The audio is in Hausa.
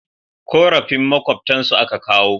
Korafin makwabtan su a ka kawo